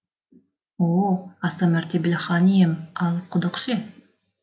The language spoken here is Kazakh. о о аса мәртебелі хан ием ал құдық ше